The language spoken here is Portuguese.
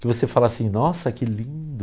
Que você fala assim, nossa, que lindo.